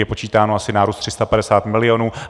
Je počítáno asi nárůst 350 milionů.